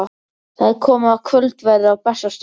Það er komið að kvöldverði á Bessastöðum.